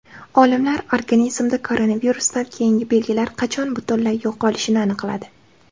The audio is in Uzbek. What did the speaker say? Olimlar organizmda koronavirusdan keyingi belgilar qachon butunlay yo‘qolishini aniqladi.